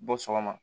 Bɔ sɔgɔma